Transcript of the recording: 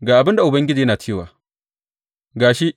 Ga abin da Ubangiji yana cewa, Ga shi!